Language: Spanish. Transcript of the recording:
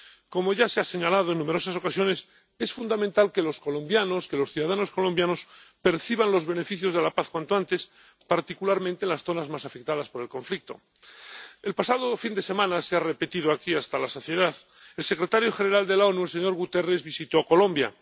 Como ya se ha señalado en numerosas ocasiones, es fundamental que los colombianos, que los ciudadanos colombianos perciban los beneficios de la paz cuanto antes, particularmente en las zonas más afectadas por el conflicto. El pasado fin de semana —se ha repetido aquí hasta la saciedad—, el secretario general de las Naciones Unidas, el señor Guterres, visitó Colombia.